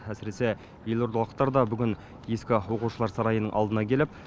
әсіресе елордалықтар да бүгін ескі оқушылар сарайының алдына келіп